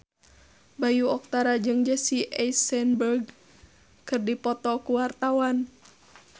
Bayu Octara jeung Jesse Eisenberg keur dipoto ku wartawan